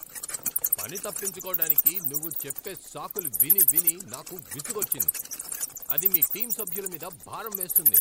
పని తప్పించుకోవటానికి నువ్వు చెప్పే సాకులు విని విని నాకు విసుగొచ్చింది, అది మీ టీం సభ్యుల మీద భారం వేస్తుంది.